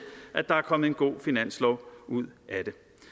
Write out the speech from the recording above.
at der er kommet en god finanslov ud af